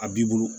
A b'i bolo